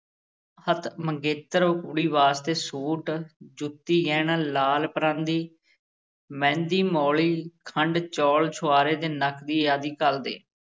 ਹੱਥ ਮੰਗੇਤਰ ਕੁੜੀ ਵਾਸਤੇ ਸੂਟ, ਜੁੱਤੀ, ਗਹਿਣਾ, ਲਾਲ ਪਰਾਂਦੀ, ਮਹਿੰਦੀ, ਮੌਲੀ, ਖੰਡ, ਚੌਲ, ਛੁਹਾਰੇ ਤੇ ਨਕਦੀ ਆਦਿ ਘੱਲਦੇ।